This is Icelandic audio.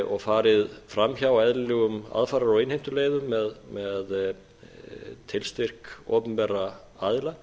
og farið framhjá eðlilegum aðfarar og innheimtuleiðum með tilstyrk opinberra aðila